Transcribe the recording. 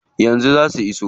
Yanzu zaa su iso.